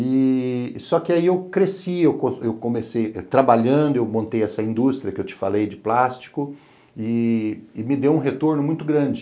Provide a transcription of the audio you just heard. E só que aí eu cresci, eu comecei trabalhando, eu montei essa indústria que eu te falei de plástico e me deu um retorno muito grande.